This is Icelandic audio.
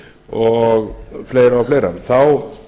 og fleira og fleira þá